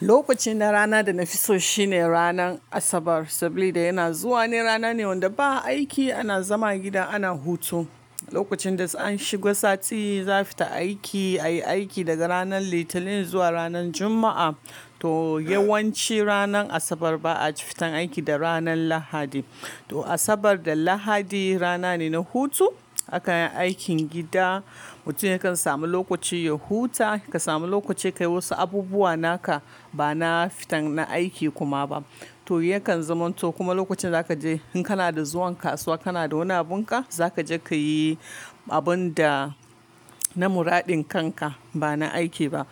Lokacin na rana da na fi so shine ranan Asabar, saboda yana zuwa ne rana ne wanda ba aiki ana zama gida ana hutu. Lokacin da an shiga sati za fita aiki, a yi aiki daga ranan Litinin zuwa ranan Juma'a. To yawanci ranan Asabar ba a fita aiki da ranan Lahadi. To Asabar da Lahadi rana ne na hutu, a kan yi aikin gida, mutum yakan samu lokaci ya huta, ka samu lokaci ka yi wasu abubuwa naka ba na fitan na aiki kuma ba. To yakan zaman to kuma lokacin za ka je in kana da zuwan kasuwa, kana da wani abun ka, za ka je ka yi abun da na muraɗin kan ka ba na aiki ba.